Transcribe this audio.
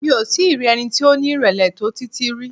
Mi ò tí i rí ẹni tí ó ní ìrèlè tó Títí rí.